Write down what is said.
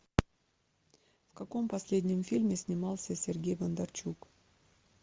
в каком последнем фильме снимался сергей бондарчук